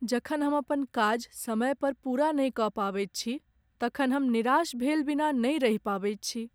जखन हम अपन काज समय पर पूरा नहि कऽ पबैत छी तखन हम निराश भेल बिना नहि रहि पबैत छी।